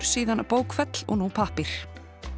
síðan bókfell og nú pappír